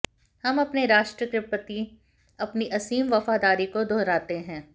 हम अपने राष्ट्र के प्रति अपनी असीम वफादारी को दोहराते हैं